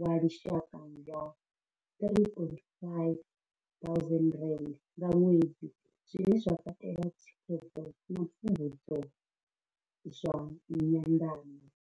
wa lushaka wa R3 500 nga ṅwedzi, zwine zwa katela thikhedzo na pfumbudzo zwa nyanḓano.